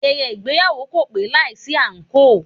Ayẹyẹ ìgbéyàwó kò pé láìsí àǹkóò.